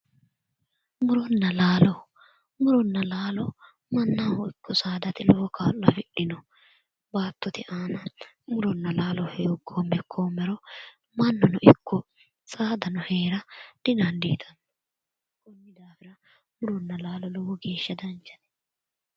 Muronna laalo muronna laalo mannaho ikko saadate lowo kaa'lo afidhino baattote aana muronna laalo hooggoommeha ikkoommero mannjno ikko saadano heerate didandiitanno konni daafira muronna laalo lowo geeshsha danchate